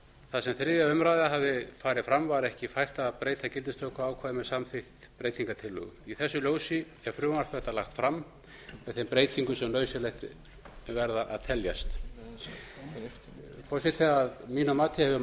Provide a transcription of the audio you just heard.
þar sem þriðja umræða hafði farið fram var ekki fært að breyta gildistökuákvæði með samþykkt breytingartillögu í þessu ljósi er frumvarp þetta lagt fram með þeim breytingum sem nauðsynlegar verða að teljast forseti að mínum mati hefur